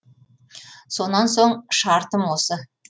сонан соң шартым осы